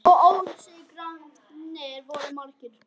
Og ósigrarnir voru margir.